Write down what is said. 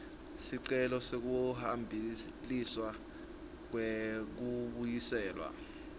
sicelo sekubhaliswa kwekubuyiselwa